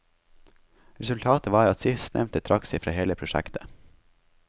Resultatet var at sistnevnte trakk seg fra hele prosjektet.